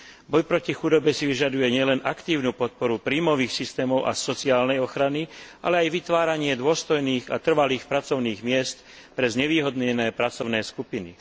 Boj proti chudobe si vyžaduje nielen aktívnu podporu príjmových systémov a sociálnej ochrany, ale aj vytváranie dôstojných a trvalých pracovných miest pre znevýhodnené pracovné skupiny.